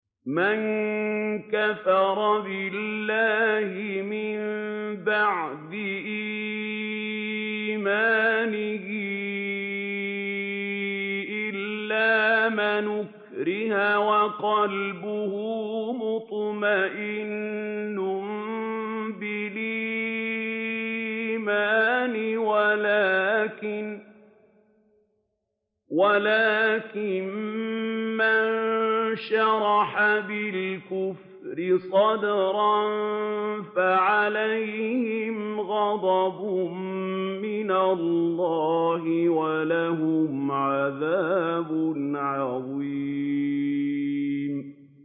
مَن كَفَرَ بِاللَّهِ مِن بَعْدِ إِيمَانِهِ إِلَّا مَنْ أُكْرِهَ وَقَلْبُهُ مُطْمَئِنٌّ بِالْإِيمَانِ وَلَٰكِن مَّن شَرَحَ بِالْكُفْرِ صَدْرًا فَعَلَيْهِمْ غَضَبٌ مِّنَ اللَّهِ وَلَهُمْ عَذَابٌ عَظِيمٌ